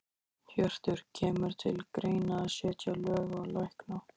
Hjörtur: Kemur til greina að setja lög á lækna?